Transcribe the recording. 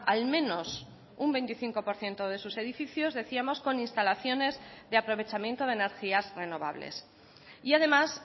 al menos un veinticinco por ciento de sus edificios decíamos con instalaciones de aprovechamiento de energías renovables y además